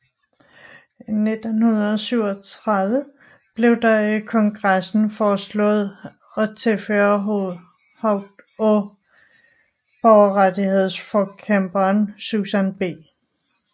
I 1937 blev der i kongressen foreslået at tilføje hovedet af borgerrettighedsforkæmperen Susan B